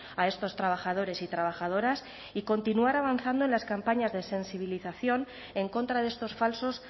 a estos trabajadores y trabajadoras y continuar avanzando en las campañas de sensibilización en contra de estos falsos